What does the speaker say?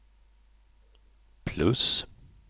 plus